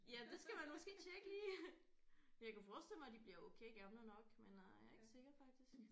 Ja det skal man måske tjekke lige. Men jeg kunne forestille mig de bliver okay gamle nok men øh jeg er ikke sikker faktisk